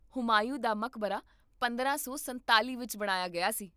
ਹੁਮਾਯੂੰ ਦਾ ਮਕਬਰਾ ਪੰਦਰਾਂ ਸੌ ਸੰਤਾਲ਼ੀ ਵਿੱਚ ਬਣਾਇਆ ਗਿਆ ਸੀ